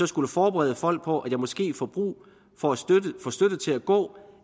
skulle forberede folk på at jeg måske får brug for støtte til at gå